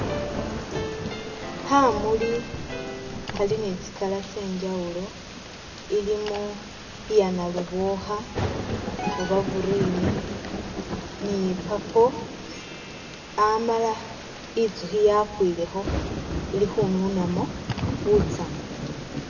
Khamuuli khali ne tsi'color tsenjawulo, ilimo iya nalubokha oba iya green ni purple Amala intsukhi yakwilekho ili khununamo butsamu